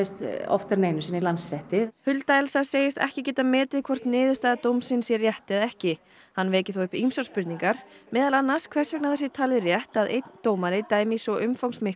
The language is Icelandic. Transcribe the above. í Landsrétti hulda Elsa segist ekki geta metið hvort niðurstaða dómsins sé rétt eða ekki hann veki þó upp ýmsar spurningar meðal annars hvers vegna það sé talið rétt að einn dómari dæmi í svo umfangsmiklu og alvarlegu máli